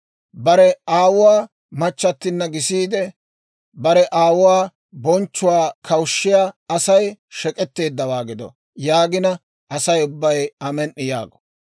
« ‹Bare aawuwaa machchattinna gisiide, bare aawuwaa bonchchuwaa kawushshiyaa Asay shek'etteeddawaa gido› yaagina, Asay ubbay, ‹Amen"i!› yaago.